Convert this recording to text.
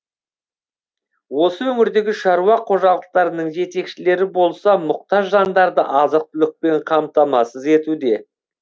осы өңірдегі шаруа қожалықтарының жетекшілері болса мұқтаж жандарды азық түлікпен қамтамасыз етуде